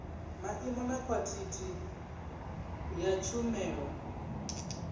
maimo na khwaḽithi ya tshumelo